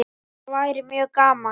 Það væri mjög gaman.